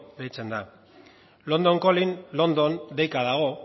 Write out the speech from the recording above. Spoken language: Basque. deitzen da london calling london deika dago